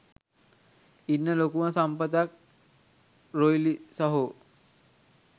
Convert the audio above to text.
ඉන්න ලොකුම සම්පතක් රොයිලි සහෝ